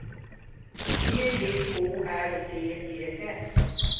G J O R D E S